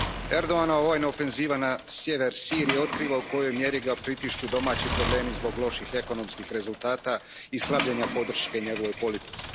Erdoganova vojna ofenziva na sjever Sirije otkriva u kojoj ga mjeri pritišću domaći problemi zbog loših ekonomskih rezultata i slabljenja podrške njegovoj politici.